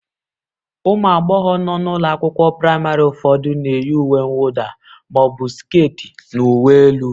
Ụmụ agbọghọ nọ n'ụlọ akwụkwọ praịmarị ụfọdụ na-eyi uwe mwụda ma ọ bụ skit na uwe elu